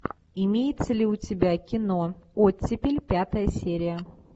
имеется ли у тебя кино оттепель пятая серия